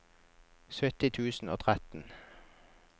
sytti tusen og tretten